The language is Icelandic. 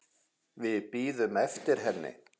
Við bíðum eftir henni